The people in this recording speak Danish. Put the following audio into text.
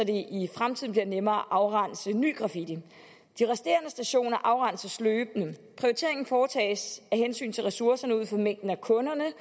i fremtiden bliver nemmere at afrense ny graffiti de resterende stationer afrenses løbende prioriteringen foretages af hensyn til ressourcerne ud fra mængden af kunderne